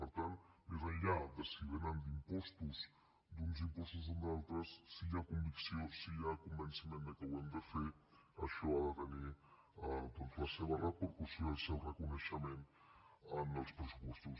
per tant més enllà de si vénen d’impostos d’uns impostos o d’altres si hi ha convicció si hi ha convenciment que ho hem de fer això ha de tenir doncs la seva repercussió el seu reconeixement en els pressupostos